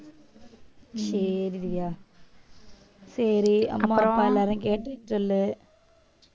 சேரி திவ்யா சரி அம்மா அப்பா எல்லாரும் கேட்டுட்டு சொல்லு